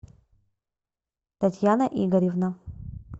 татьяна игоревна